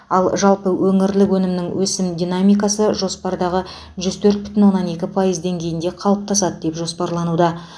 ал жалпы өңірлік өнімнің өсім динамикасы жоспардағы жүз төрт бүтін оннан екі пайыз деңгейінде қалыптасады деп жоспарлануда